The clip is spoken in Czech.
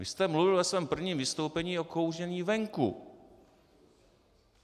Vy jste mluvil ve svém prvním vystoupení o kouření venku.